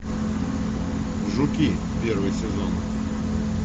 жуки первый сезон